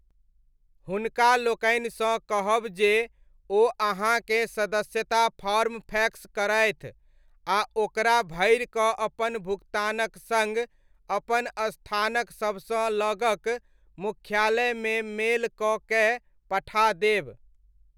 हुनकालोकनिसँ कहब जे ओ अहाँकेँ सदस्यता फॉर्म फैक्स करथि, आ ओकरा भरिकऽ अपन भुगतानक सङ्ग अपन स्थानक सबसँ लगक मुख्यालयमे मेल कऽ कए पठा देब।